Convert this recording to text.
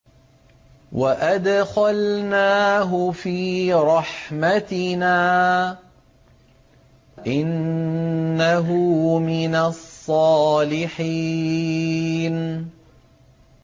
وَأَدْخَلْنَاهُ فِي رَحْمَتِنَا ۖ إِنَّهُ مِنَ الصَّالِحِينَ